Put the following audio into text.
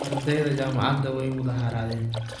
Ardeydha jamacadha wai mudaharadhen.